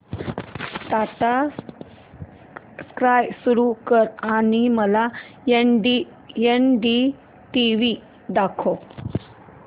Tata Sky सुरू कर आणि मला एनडीटीव्ही दाखव